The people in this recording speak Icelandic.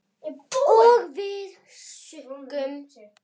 Og við sukkum.